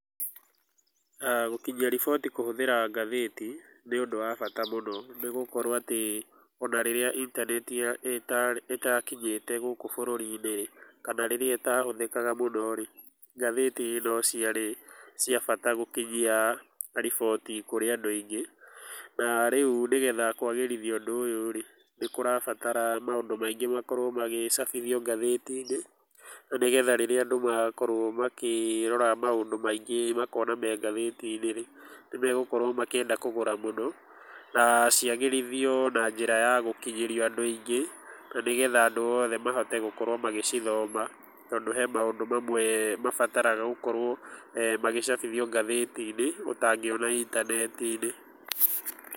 Gũkinyia riboti kũhũthira ngathĩti nĩ ũndũ wa bata mũno nĩ gũkorwo atĩ ona rĩrĩa intaneti ĩtakinyĩte gũkũ bũrũri-inĩ rĩ, kana rĩrĩa ĩtahũthĩkaga mũno rĩ, ngathĩti no ciarĩ cia bata gũkinyia riboti kũrĩ andũ aingĩ, na rĩu nĩgetha kwagĩrithia ũndũ ũyũ rĩ, nĩ kũrabatara maũndũ maingĩ magĩcabithio ngatheti-inĩ no nĩgetha rĩrĩa andũ magakorwo makĩrora maũndũ maingĩ makona me ngathĩti-inĩ rĩ, nĩ megũkorwo makĩenda kũgũra mũno na ciagĩrithio na njĩra ya gũkinyĩrio andũ aingĩ na nĩgetha andũ othe mahote gũkorwo magĩcithoma tondũ he maũndũ mamwe mabataraga gũkorwo magĩcabithio ngathĩti-inĩ ũtangiona intaneti-inĩ.